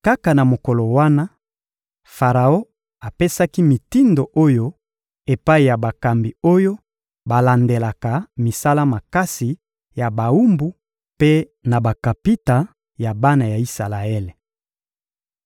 Kaka na mokolo wana, Faraon apesaki mitindo oyo epai ya bakambi oyo balandelaka misala makasi ya bawumbu mpe na bakapita ya bana ya Isalaele: